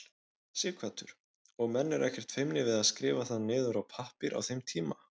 Sighvatur: Og menn ekkert feimnir við að skrifa það niður á pappír á þeim tíma?